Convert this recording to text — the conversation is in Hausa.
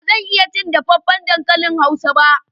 Ba zan iya cin dafaffen dankalin hausa ba.